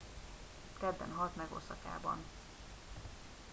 kedden halt meg oszakában